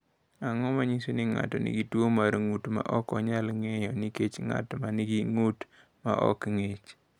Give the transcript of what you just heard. Ang’o ma nyiso ni ng’ato nigi tuwo mar ng’ut ma ok nyal ng’iyo, nikech ng’at ma nigi ng’ut ma ok ng’ich?